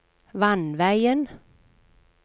vannveien